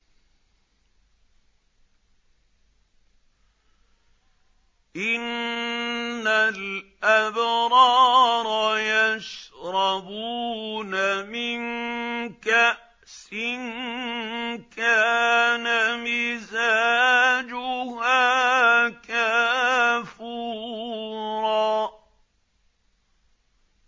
إِنَّ الْأَبْرَارَ يَشْرَبُونَ مِن كَأْسٍ كَانَ مِزَاجُهَا كَافُورًا